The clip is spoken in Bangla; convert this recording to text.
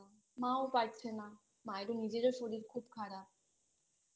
মাও পারছে না মায়েরও নিজেরও শরীর খুব খারাপ তো